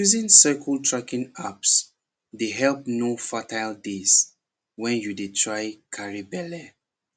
using cycle tracking apps dey help know fertile days when you dey try carry belle